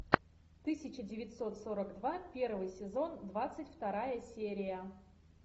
тысяча девятьсот сорок два первый сезон двадцать вторая серия